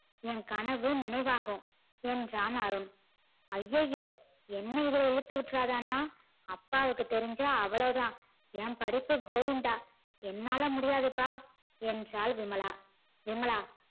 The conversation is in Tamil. ஏன் கனவு நினைவாகும் என்றான் அருண் அய்யய்யோ என்ன இதுல இழுத்தி விட்டுடாத அண்ணா அப்பாக்கு தெரிஞ்சா அவ்ளோதா என் படிப்பு கோவிந்தா என்னால் முடியாதுப்பா என்றால் விமலா விமலா